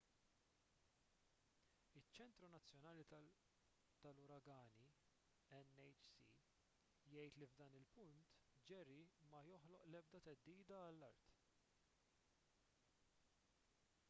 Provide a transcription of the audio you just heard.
iċ-ċentru nazzjonali tal-uragani nhc jgħid li f’dan il-punt jerry ma joħloq l-ebda theddida għall-art